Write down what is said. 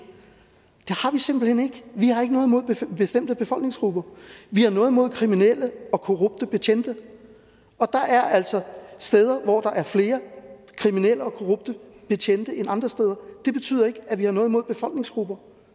har ikke noget imod bestemte befolkningsgrupper vi har noget imod kriminelle og korrupte betjente og der er altså steder hvor der er flere kriminelle og korrupte betjente end andre steder det betyder ikke at vi har noget imod befolkningsgrupper